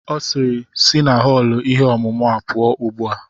Ọ sịịrị, sị na họọlụ ihe ọmụmụ a pụọ ugbu a!